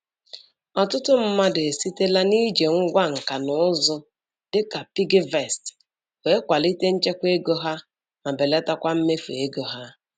Ọtụtụ mmadụ esitela n'iji ngwá nka na ụzụ dịka piggyvest wee kwalite nchekwa ego ha ma belatakwa mmefu ego ha.